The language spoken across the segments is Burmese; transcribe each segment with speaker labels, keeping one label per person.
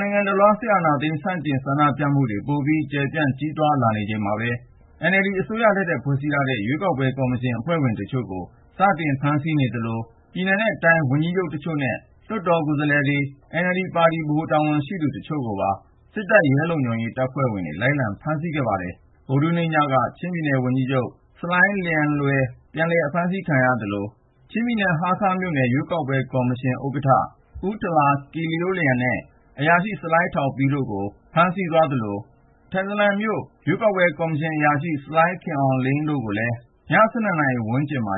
Speaker 1: နိုင်ငံတလွှား စစ်အာဏာသိမ်း ဆန့်ကျင်ဆန္ဒပြမှုတွေ ပိုပြီး ကျယ့်ပြန်ကြီးထွား လာနေချိန်မှာပဲ NLD အစိုးရလက်ထက် ဖွဲ့စည်းထားတဲ့ ရွေးကောက်ပွဲ ကော်မရှင် အဖွဲ့ဝင်တချို့ကို စတင်ဖမ်းဆီးနေသလို ၊ ပြည်နယ်နဲ့တိုင်း ဝန်ကြီးချုပ် တချို့နဲ့ လွှတ်တော်ကိုယ်စားလှယ်တွေ ၊ NLD ပါတီဗဟို တာဝန်ရှိသူ တချို့ကိုပါ ဗုဒ္ဓဟူးနေ့ညက စစ်တပ်တဲ့ ရဲလုံခြုံရေး တပ်ဖွဲ့ဝင်တွေ လိုက်လံဖမ်းဆီး ခဲ့ပါတယ်။ ဗုဒ္ဓဟူးနေ့ညက ချင်းပြည်နယ် ဝန်ကြီးချုပ် ဆလိုင်းလျန်လွယ် ပြန်လည်အဖမ်းဆီး ခံရသလို၊ ချင်းပြည်နယ် ဟားခါးမြို့နယ် ရွေးကောက်ပွဲ ကော်မရှင် ဥက္ကဌ ဆလိုင်း ထာလာကိယိုးလျန်နဲ့ အရာရှိ ဆလိုင်းထောင်ပီး ၊ ထန်တလန်မြို့နယ် ရွေးကောက်ပွဲ ကော်မရှင်ရုံးအရာရှိ ဆလိုင်း ခင်အောင်လိန်းတို့ကိုလည်း ညသန်းခေါင်အချိန်မှာ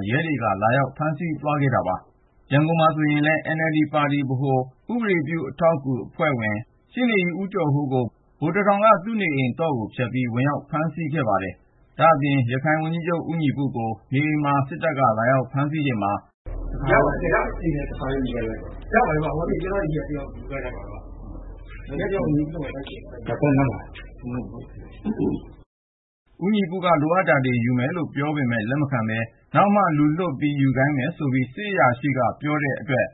Speaker 1: လာရောက် ဖမ်းဆီး သွားတယ်လို့ ဒေသခံတွေက ပြောပါတယ်။ ရန်ကုန်မှာဆိုရင်လည်း - NLD ပါတီဗဟို ဥပဒေအထောက်အကူပြုအဖွဲ့ဝင် ရှေ့နေကြီး ဦးကျော်ဟိုးကို ဗိုလ်တထောင်က သူ့နေအိမ်သော့ကို ဖျက်ပြီး ဝင်ဖမ်းသ ွားတာပါ ။ ဒါ့အပြင် ရခိုင်ဝန်ကြီးချုပ် ဦးညီပုကို နေအိမ်မှာ စစ်တပ်က လာရောက်ဖမ်းဆီးချိန်မှာ ဦးညီပုက လိုအပ်တာလေးတွေ ယူမယ်လို့ ပြောပေမယ့် လက်မခံပဲ ၊ နောက်မှာ လူလွှတ် ယူခိုင်းမယ်ဆိုပြီး စစ်အရာရှိက ပြောတဲ့အတွက်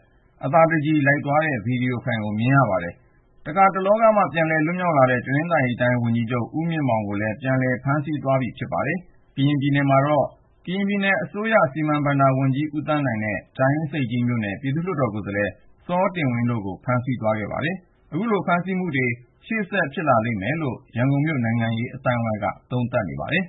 Speaker 1: အသာတကြည် လိုက်သွားတာကို ဗီဒီယိုဖိုင်မှာ မြင်ရပါတယ်။ တခါ တလောကမှ ပြန်လည်လွတ်မြောက်လာတဲ့ တနင်္သာရီတိုင်း ဝန်ကြီးချုပ် ဦးမြင့်မောင်ကိုလည်း ပြန်လည် ဖမ်းဆီးသ ွားပြီဖြစ်ပါတယ်။ ကရင်ပြည်နယ်မှာတော့ ကရင်ပြည်နယ်အစိုးရအဖွဲ့ဝင် စီမံ/ဘဏ္ဍာဝန်ကြီး ဦးသန်းနိုင်ကိုလည်း ဖမ်းဆီး သွားခဲ့ပါတယ်။ အခုလို ဖမ်းဆီးမှုတွေ ရှေ့ဆက် ဖြစ်လာလိမ့်ဦးမယ်လို့ ရန်ကုန်မြို့ နိုင်ငံရေးအသိုင်းအဝိုင်းက သုံးသပ်ပါတယ်။